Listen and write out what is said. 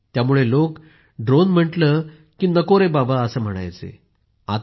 त्यामुळे लोक ड्रोन म्हटलं की नको रे बाबा म्हणत होते